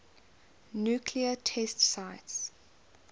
nuclear test sites